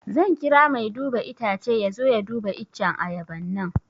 Zan kira mai duba itacce ya zo ya duba iccen ayaban nan